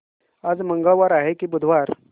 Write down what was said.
आज मंगळवार आहे की बुधवार